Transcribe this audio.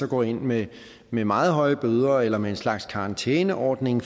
går ind med med meget høje bøder eller med en slags karantæneordning